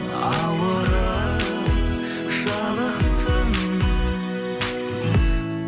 ауырып жалықтым